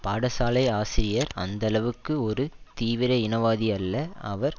பாடசாலை ஆசிரியர் அந்தளவுக்கு ஒரு தீவிர இனவாதி அல்ல அவர்